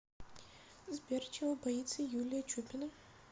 сбер чего боится юлия чупина